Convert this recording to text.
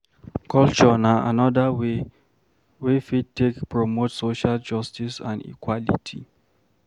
Culture na anoda way wey fit take promote social justice and equality